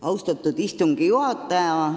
Austatud istungi juhataja!